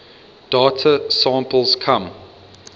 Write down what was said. data samples come